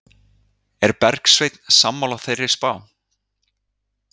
Er Bergsveinn sammála þeirri spá?